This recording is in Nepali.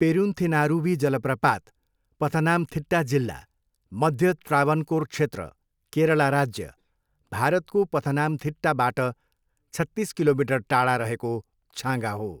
पेरुन्थेनारुवी जलप्रपात पथनामथिट्टा जिल्ला, मध्य त्रावनकोर क्षेत्र, केरला राज्य, भारतको पथनामथिट्टाबाट छत्तिस किलोमिटर टाढा रहेको छाँगा हो।